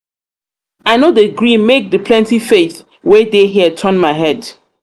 i no dey gree make di plenty plenty faith wey dey here turn my head.